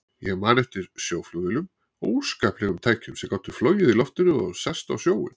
Ég man eftir sjóflugvélum, óskaplegum tækjum sem gátu flogið í loftinu og sest á sjóinn.